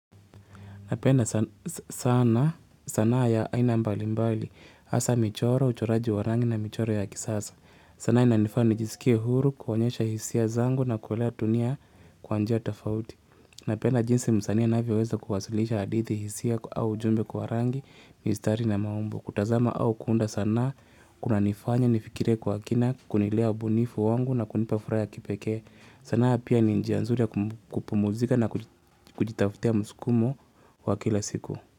Napenda sana sanaa ya aina mbali mbali, hasa michoro, uchoraji wa rangi na michoro ya kisasa. Sanaa inanifanya nijisikie huru, kuonyesha hisia zangu na kuwalea dunia kwa njia tofauti. Napenda jinsi msani anavyoweza kuwasulisha hadithi hisia au ujumbe kwa rangi miistari na maumbo. Kutazama au kuunda sanaa, kunanifanya, nifikire kwa kina, kunilea ubunifu wangu na kunipa furaha ya kipeke. Sanaa pia ni njia nzuri ya kupumzika na kujitaftia msukumo wa kila siku.